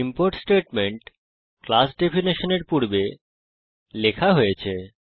import statement class ডেফিনেশনর পূর্বে লেখা হয়েছে